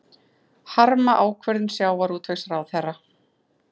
Harma ákvörðun sjávarútvegsráðherra